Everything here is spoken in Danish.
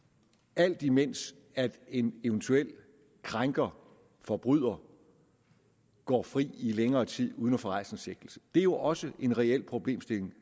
alt imens en eventuel krænker forbryder går fri i længere tid uden at få rejst en sigtelse det er jo også en reel problemstilling